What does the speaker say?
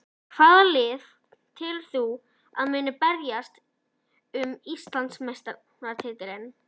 Hvaða lið telur þú að muni berjast um Íslandsmeistaratitilinn?